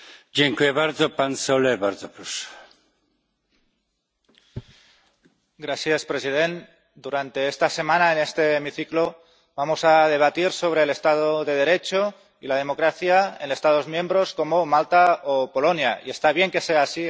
Señor presidente, durante esta semana, en este hemiciclo, vamos a debatir sobre el Estado de Derecho y la democracia en Estados miembros, como Malta o Polonia, y está bien que sea así.